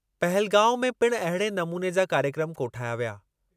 पहलगांव में पिणु अहिड़े नमूने जा कार्यक्रमु कोठाया विया।